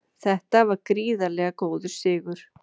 Þetta var gríðarlega góður sigur